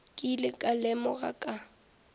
ke ile ka lemoga ka